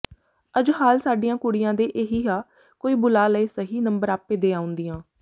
ਅੱਜ ਹਾਲ ਸਾਡੀਆਂ ਕੁੜੀਆਂ ਦੇ ਇਹੀ ਆ ਕੋਈ ਬੁਲਾ ਲਏ ਸਹੀ ਨੰਬਰ ਆਪੇ ਦੇ ਆਉਂਦੀਆਂ